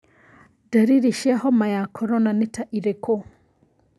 Ndariri cia homa ya korona nĩ ta irĩkũ?